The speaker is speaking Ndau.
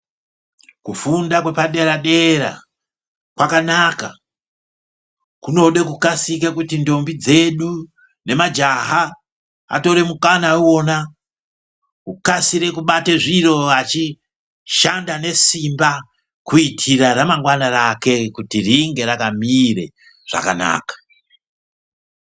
Kufunda kwepadera dera kwakanaka kunode kukasike kuti ndombi dzedu ngemajaha atore mukana iwona ukasire kubatei zviro vachishanda nesimba kuitire ramangwana rake kuti ringe rakamire zvakanaka.